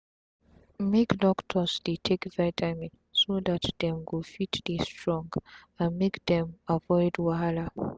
make doctors dey take vitamin so dat dem go fit dey strong and make dem avoid wahala